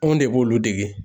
Anw de b'olu dege.